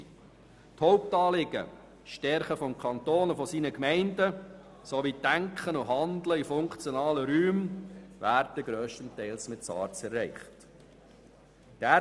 Die Hauptanliegen wie das Stärken des Kantons und seiner Gemeinden sowie das Denken und Handeln in funktionalen Räumen werden durch SARZ grösstenteils erreicht.